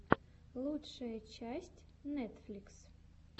лучшая часть нетфликс